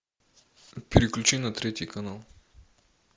переключи на третий канал